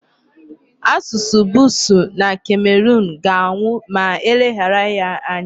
Asụsụ Busuu na Cameroon ga-anwụ ma e leghara ya anya.